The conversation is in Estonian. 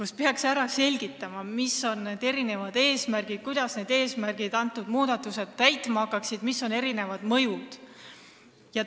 Selles peaks selgitama, mis on eelnõu eesmärgid, kuidas neid eesmärke hakatakse ellu viima ja milline on muudatuste mõju.